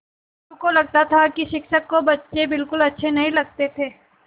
मोरू को लगता था कि शिक्षक को बच्चे बिलकुल अच्छे नहीं लगते थे